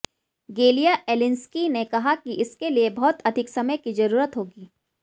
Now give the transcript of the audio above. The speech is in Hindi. गेलिया एलिंस्की ने कहा कि इसके लिए बहुत अधिक समय की ज़रूरत होगी